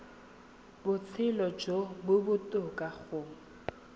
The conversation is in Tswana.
botshelo jo bo botoka go